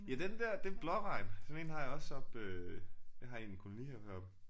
Ja den der det er en blåregn. Sådan en har jeg også oppe øh jeg har en kolonihave heroppe